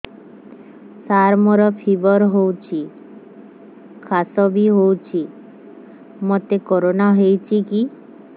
ସାର ମୋର ଫିବର ହଉଚି ଖାସ ବି ହଉଚି ମୋତେ କରୋନା ହେଇଚି କି